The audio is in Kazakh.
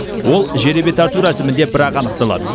ол жеребе тарту рәсімінде бірақ анықталады